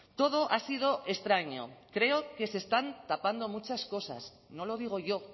todo ha sido extraño creo que se están tapando muchas cosas no lo digo yo